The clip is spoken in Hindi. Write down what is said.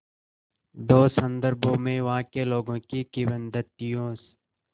दो संदर्भों में वहाँ के लोगों की किंवदंतियों